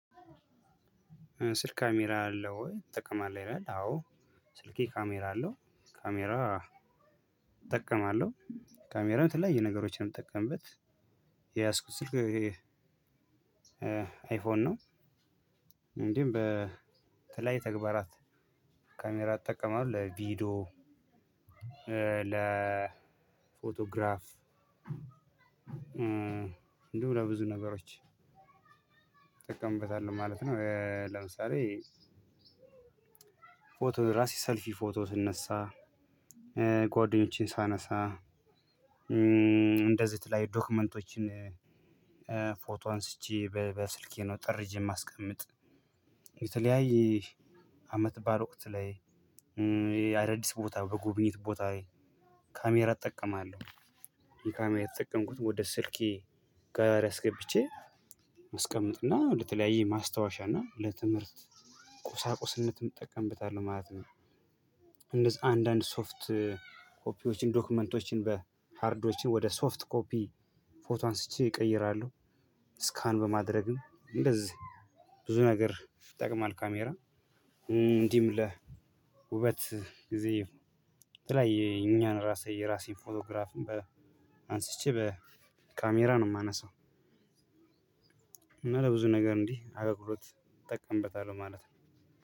ስልክህ ካሜራ አለው ወይ? ትጠቀማለህ ይላል አዎ። ስልኬ ካሜራ አለው ካሜራ እጠቀማለሁ ካሜራው የተለያዩ ነገሮችን የምጠቀምበት የያዝኩት ስልክ አይፎን ነው። እንግዲህ በተለያየ ተግባራት ካሜራ እጠቀማለሁ ለቪዲዮ ለፎቶግራፍ እንዲሁም ለብዙ ነገሮች እጠቀምበታለሁ ማለት ነው። ለምሳሌ ፎቶ ራሴ ሰልፊ ፎቶ ስነሳ ጓደኞቼን ሳነሳ እንደዚህ የተለያየ ዶክመንቶችን ፎቶ አንስቼ በስልኬ ነው ጠርዥ የማስቀምጥ የተለያየ አመት በዓል ወቅት ላይ የ አዳዲስ ቦታ በጉብኝት ቦታ ላይ ካሜራ እጠቀማለሁ ካሜራ እየተጠቀምኩኝ ወደ ስልኬ ጋላሪ አስገብቼ አስቀምጥና ለተለያየ ማስታወሻ እና ለትምህርት ቁሳቁስነትም እጠቀምበታለሁ ማለት ነው። እንደዛ አንዳንድ ሶፍት ኮፒዎችን ዶክመንቶችን በሃርዶችን ወደ ሶፍት ኮፒ ፎቶ አንስቼ እቀይራለሁ ስካን በማድረግም እንደዚህ ብዙ ነገር ይጠቅማል። ካሜራ እንዲህም ለውበት ጊዜ የተለያየ የኛን ራሴ የራሴን ፎቶግራፍ አንስቼ በካሜራ ነው የማነሳው። እና ለብዙ ነገር እንዲህ አገልግሎት እጠቀምበታለሁ ማለት ነው።